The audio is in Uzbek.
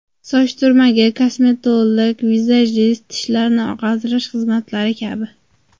Soch turmagi, kosmetolog, vizajist, tishlarni oqartirish xizmatlari kabi.